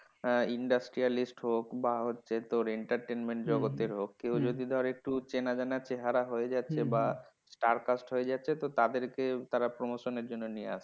আহ industrialist হোক বা হচ্ছে তোর entertainment জগতের হোক কেউ যদি ধর একটু চেনা জানা চেহারা হয়ে যাচ্ছে বা star cast হয়ে যাচ্ছে তো তাদেরকে তারা promotion এর জন্য নিয়ে আসছে।